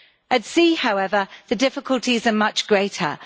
At sea, however, the difficulties are much greater.